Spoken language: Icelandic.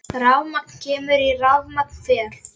Rafmagn kemur og rafmagn fer.